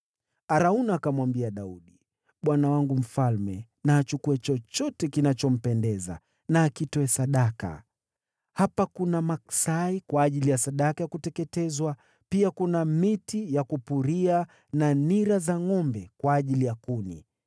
Arauna akamwambia Daudi, “Bwana wangu mfalme na achukue chochote kinachompendeza na akitoe sadaka. Hapa kuna maksai kwa ajili ya sadaka ya kuteketezwa, pia kuna miti ya kupuria na nira za ngʼombe kwa ajili ya kuni.